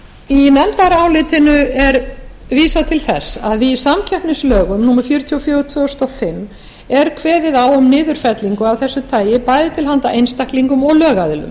í nefndarálitinu er vísað til þess að í samkeppnislögum númer fjörutíu og fjögur tvö þúsund og fimm er kveðið á um niðurfellingu af þessu tagi bæði til handa einstaklingum og lögaðilum